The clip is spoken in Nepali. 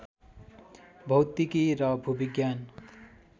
भौतिकी र भूविज्ञान